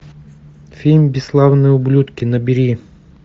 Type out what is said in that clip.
фильм бесславные ублюдки набери